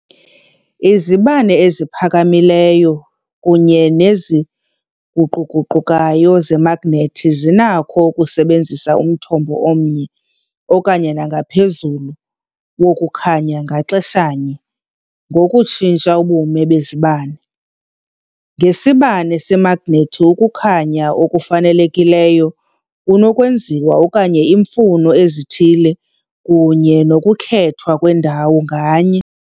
Izibane eziphakamileyo kunye neziguquguqukayo zemagnethi zinakho ukusebenzisa umthombo omnye okanye nangaphezulu wokukhanya ngaxeshanye ngokutshintsha ubume bezibane. Ngesibane semagnethi, ukukhanya okufanelekileyo kunokwenziwa okanye iimfuno ezithile kunye nokukhethwa kwendawo nganye.